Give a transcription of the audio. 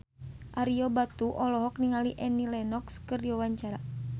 Ario Batu olohok ningali Annie Lenox keur diwawancara